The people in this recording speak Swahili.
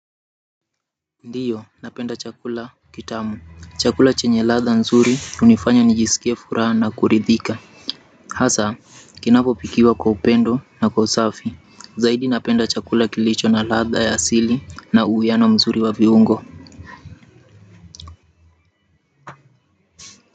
Ndiyo napenda chakula kitamu chakula chenye ladha nzuri hunifanya nijisikie furaha na kuridhika hasa kinapo pikiwa kwa upendo na kwa usafi zaidi napenda chakula kilicho na ladha ya asili na uwiano mzuri wa viungo.